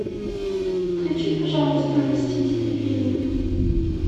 включи пожалуйста мстители фильм